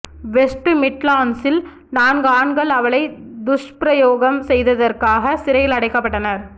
west மிட்லாண்ட்ஸில் நான்கு ஆண்கள் அவளை துஷ்பிரயோகம் செய்ததற்காக சிறையில் அடைக்கப்பட்டனர்